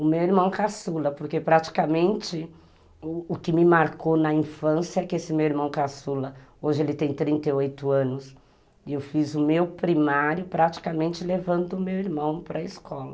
O meu irmão caçula, porque praticamente o que me marcou na infância é que esse meu irmão caçula, hoje ele tem trinta e oito anos, e eu fiz o meu primário praticamente levando o meu irmão para a escola.